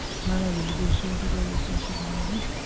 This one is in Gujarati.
ના ના બિલકુલ સો ટકા વાત સાચી તમારી